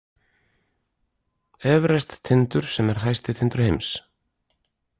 Everest-tindur sem er hæsti tindur heims.